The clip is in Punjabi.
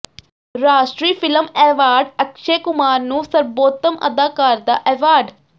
ਰਾਸ਼ਟਰੀ ਫ਼ਿਲਮ ਐਵਾਰਡ ਅਕਸ਼ੈ ਕੁਮਾਰ ਨੂੰ ਸਰਬੋਤਮ ਅਦਾਕਾਰ ਦਾ ਐਵਾਰਡ